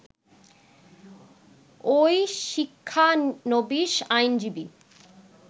ওই শিক্ষানবীশ আইনজীবী